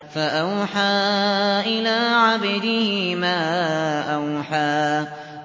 فَأَوْحَىٰ إِلَىٰ عَبْدِهِ مَا أَوْحَىٰ